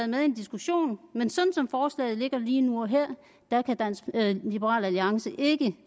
med i en diskussion men sådan som forslaget ligger lige nu og her kan liberal alliance ikke